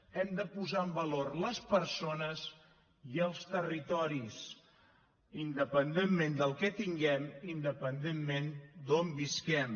hem de posar en valor les persones i els territoris independentment del que tinguem independentment d’on visquem